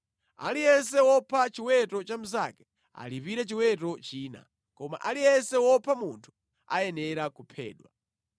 Aliyense wopha chiweto cha mnzake, alipire chiweto china, koma aliyense wopha munthu ayenera kuphedwa.